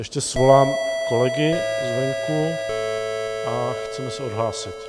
Ještě svolám kolegy zvenku a chceme se odhlásit.